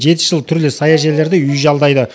жеті жыл түрлі саяжайларда үй жалдайды